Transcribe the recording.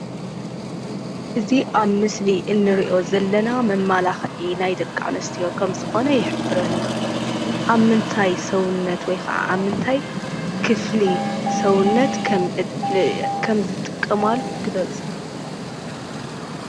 እዚ ኣብ ምስሊ እንሪኦ ዘለና መመላኽዒ ናይ ደቂ ኣንስትዮ ከም ዝኾነ ይሕብረልና። ኣብ ምንታይ ሰዉነት ወይ ከዓ ኣብ ምንታይ ክፍሊ ሰዉነት ከም ዝጥቀማሉ ግለፁ?